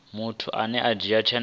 muthu ane a dzhia tsheo